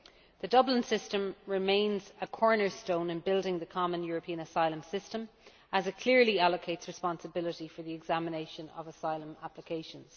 The Dublin System remains a cornerstone in building the common European asylum system, as it clearly allocates responsibility for the examination of asylum applications.